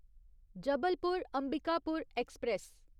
Jabalpur Ambikapur express